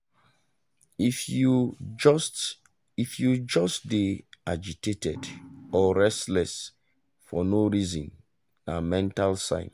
if you just if you just dey agitated or restless for no reason na mental sign.